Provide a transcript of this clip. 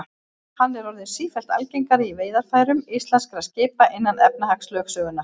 Hann er orðinn sífellt algengari í veiðarfærum íslenskra skipa innan efnahagslögsögunnar.